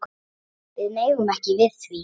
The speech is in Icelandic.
Við megum ekki við því.